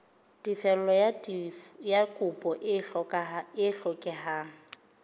tefello ya kopo e hlokehang